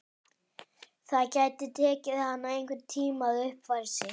Það gæti tekið hana einhvern tíma að uppfæra sig.